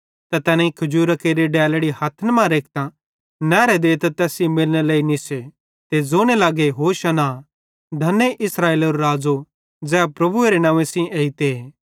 त तैनेईं खजूरां केरि डेलड़ी हथ्थन मां रेखतां नहरे देते तैस सेइं मिलनेरे लेइ निस्से ते ज़ोने लगे होशाना तारीफ़ धने इस्राएलेरो राज़ो ज़ै प्रभुएरे नंव्वे सेइं एइते